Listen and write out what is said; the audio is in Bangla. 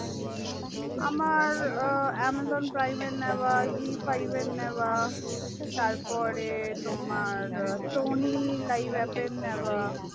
আমার এ amazon prime এর নেওয়া zee five এর নেওয়া তার পরে তোমার sony live aath এর নেওয়া ।